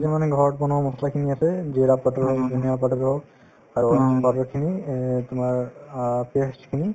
মানে ঘৰত বনোৱা মছলাখিনি আছেই যিৰা powder ধানিয়া powder গল আৰু খিনি এই তোমাৰ অ paste খিনি